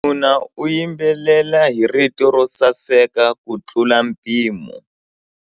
Wanuna u yimbelela hi rito ro saseka kutlula mpimo.